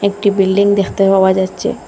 একটি বিল্ডিং দেখতে পাওয়া যাচ্ছে।